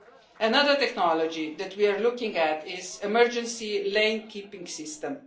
Another technology that we are looking at is emergency lane keeping system.